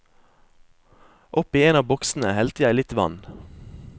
Oppi en av boksene helte jeg litt vann.